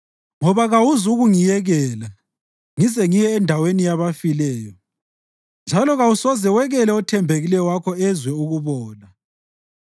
ngoba kawuzukungiyekela ngize ngiye endaweni yabafileyo, njalo kawusoze wekele othembekileyo wakho ezwe ukubola.